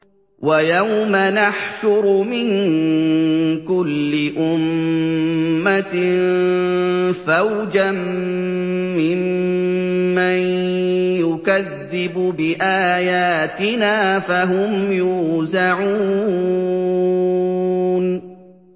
وَيَوْمَ نَحْشُرُ مِن كُلِّ أُمَّةٍ فَوْجًا مِّمَّن يُكَذِّبُ بِآيَاتِنَا فَهُمْ يُوزَعُونَ